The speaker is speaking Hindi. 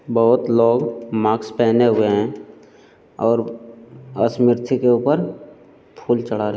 बहोत लोग माक्स पहने हुए हैं और स्मिर्ति के ऊपर फूल चढ़ा रहे --